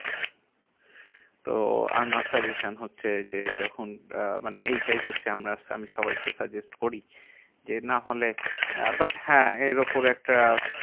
তো আমার suggestion হচ্ছে যে, যখন আহ মানে এইটাই হচ্ছে আমরা আমি সবাইকে suggest করি। যে নাহলে আহ but হ্যাঁ এর উপরে একটা